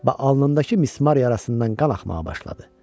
Və alnındakı mismar yarasından qan axmağa başladı.